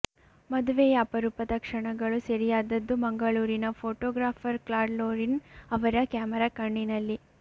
ಮದುವೆಯ ಅಪರೂಪದ ಕ್ಷಣಗಳು ಸೆರೆಯಾದದ್ದು ಮಂಗಳೂರಿನ ಫೋಟೋ ಗ್ರಾಪರ್ ಕ್ಲಾಡ್ ಲೋರಿನ್ ಅವರ ಕ್ಯಾಮರ ಕಣ್ಣಿನಲ್ಲಿ